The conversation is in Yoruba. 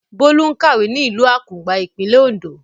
Bólú ń kàwé ní ìlú Àkùngbá, ìpínlẹ̀ Oǹdó.